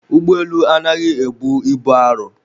Ụgbọelu anaghị ebu ibu arọ